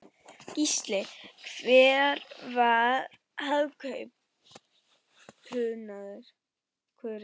Gísli: Hver var hápunkturinn?